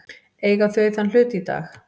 Eiga þau þann hlut í dag.